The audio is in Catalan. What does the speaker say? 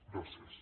gràcies